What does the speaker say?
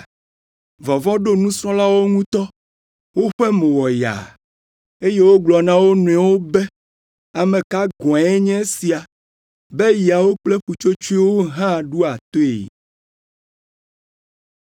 Vɔvɔ̃ ɖo nusrɔ̃lawo ŋutɔ. Woƒe mo wɔ yaa, eye wogblɔ na wo nɔewo be, “Ame ka gɔ̃e nye esia, be yawo kple ƒutsotsoewo hã ɖoa toe?”